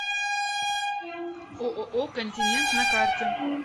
ооо континент на карте